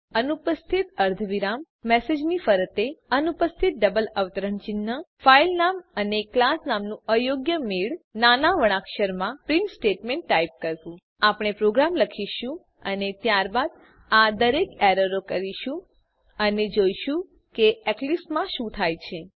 અનુપસ્થિત અર્ધવિરામ મેસેજની ફરતે અનુપસ્થિત ડબલ અવતરણ ચિહ્ન ફાઈલનામ અને ક્લાસ નામનું અયોગ્ય મેળ અને અને નાના વર્ણાક્ષરમાં પ્રીંટ સ્ટેટમેંટ ટાઈપ કરવું આપણે પ્રોગ્રામ લખીશું અને ત્યારબાદ આ દરેક એરરો કરીશું અને જોઈશું કે એક્લીપ્સ માં શું થાય છે